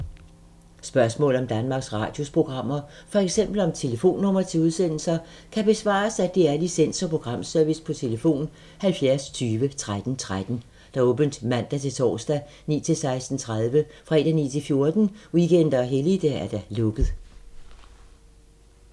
Spørgsmål om Danmarks Radios programmer, f.eks. om telefonnumre til udsendelser, kan besvares af DR Licens- og Programservice: tlf. 70 20 13 13, åbent mandag-torsdag 9.00-16.30, fredag 9.00-14.00, weekender og helligdage: lukket.